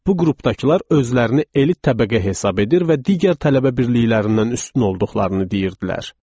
Bu qrupdakılar özlərini elit təbəqə hesab edir və digər tələbə birliklərindən üstün olduqlarını deyirdilər.